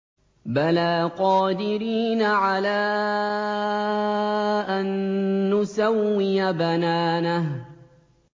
بَلَىٰ قَادِرِينَ عَلَىٰ أَن نُّسَوِّيَ بَنَانَهُ